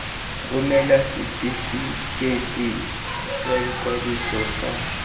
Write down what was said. romela setefikeiti sa ikwadiso sa